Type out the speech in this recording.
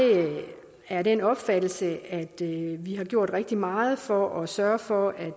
er af den opfattelse at vi har gjort rigtig meget for at sørge for at